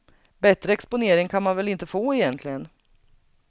Bättre exponering kan man väl inte få egentligen.